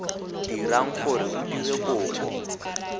dirang gore o dire kopo